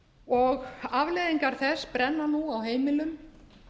og afleiðingar þess brenna nú á heimilum